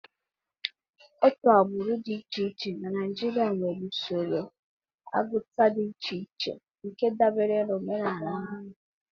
Otu agbụrụ dị iche iche na Naijiria nwere usoro agụta dị iche iche nke dabere na omenala ha.